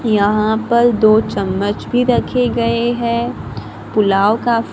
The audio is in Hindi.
यहां पर दो चम्मच भी रखे गए हैं पुलाव का--